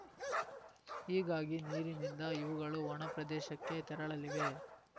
ಹೀಗಾಗಿ ನೀರಿನಿಂದ ಇವುಗಳು ಒಣಪ್ರದೇಶಕ್ಕೆ ತೆರಳಲಿವೆ